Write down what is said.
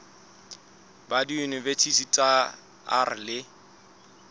ba diyuniti tsa r le